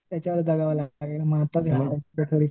त्याच्यावरच जगावं लागतंय आत्ता मग